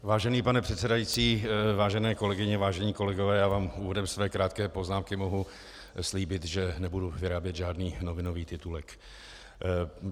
Vážený pane předsedající, vážené kolegyně, vážení kolegové, já vám úvodem své krátké poznámky mohu slíbit, že nebudu vyrábět žádný novinový titulek.